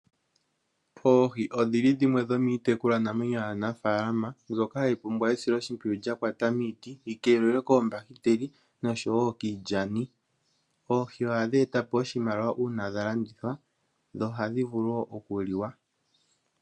Oohi odhi li dhimwe dhomiitekulwanamwenyo yaanafaalama mbyoka hayi pumbwa esiloshimpwiyu lya kwata miiti, yi keelelwe koombahiteli, nosho wo kiilyani. Oohi ohadhi eta po oshimaliwa uuna dha landithwa, dho ohadhi vulu wo okuliwa.